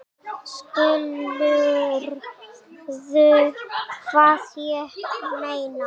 Skilurðu hvað ég meina?